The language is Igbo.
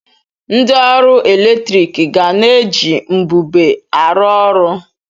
Ndị ọrụ eletrik ga na-eji mbube arụ ọrụ.